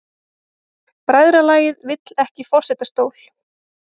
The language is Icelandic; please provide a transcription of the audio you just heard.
Bræðralagið vill ekki forsetastól